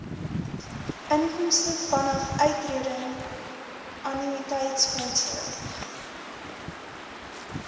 inkomste vanaf uittredingannuïteitsfondse